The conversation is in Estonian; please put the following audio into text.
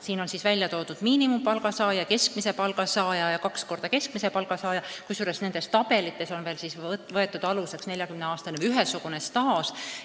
Siin on välja toodud miinimumpalga saaja, keskmise palga saaja ja kahekordse keskmise palga saaja, kusjuures aluseks on võetud 40 aasta pikkune ühesugune staaž.